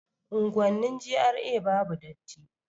Unguwannin GRA babu datti